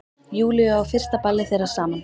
Júlíu á fyrsta ballið þeirra saman.